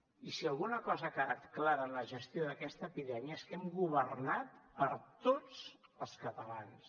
i si alguna cosa ha quedat clara en la gestió d’aquesta epidèmia és que hem governat per a tots els catalans